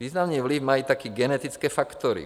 Významný vliv mají také genetické faktory.